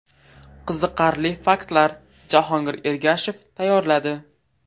Qiziqarli faktlar: Jahongir Ergashev tayyorladi.